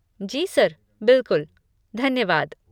जी sir, बिलकुल, धन्यवाद।